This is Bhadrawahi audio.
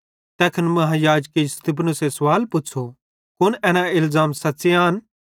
तैखन महायाजके स्तिफनुसे सवाल पुछ़ो कुन एना इलज़ाम सच़्च़े आन